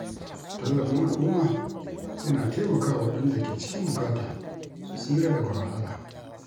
Tallafin al’umma yana taimaka wa waɗanda ke cikin bukata su tsira daga wahala.